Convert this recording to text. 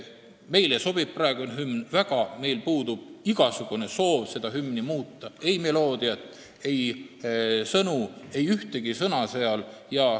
Meile sobib praegune hümn väga, meil puudub igasugune soov seda hümni muuta, me ei soovi muuta ei meloodiat ega sõnu, mitte ühtegi sõna seal.